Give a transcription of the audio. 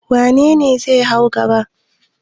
Wane ne zai hau gada?